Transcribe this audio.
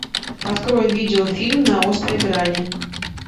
открой видеофильм на острой грани